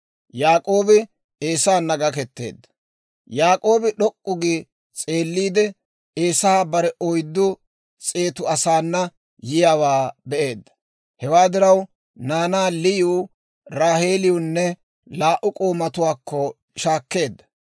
Yaak'oobi d'ok'k'u gi s'eelliide, Eesay bare oyddu s'eetu asaana yiyaawaa be'eedda. Hewaa diraw naanaa Liyiw, Raaheeliwunne laa"u k'oomatuwaakko shaakkeedda.